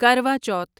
کروا چوتھ